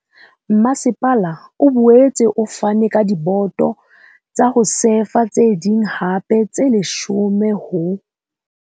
Masepala o boetse o fane ka diboto tsa ho sefa tse ding hape tse 10 ho.